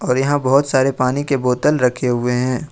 और यहा बहोत सारे पानी के बोतल रखे हुए हैं।